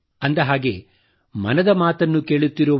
ಅಂದ ಹಾಗೆ ಮನದ ಮಾತನ್ನು ಕೇಳುತ್ತಿರುವ